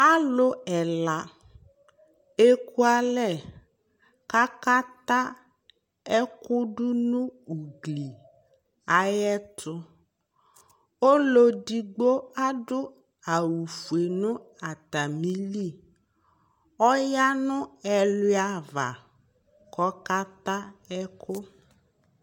alò ɛla eku alɛ k'aka ta ɛkò do no ugli ayi ɛto ɔlò edigbo adu awu fue no atamili ɔya no ɛluia ava k'ɔka ta ɛkò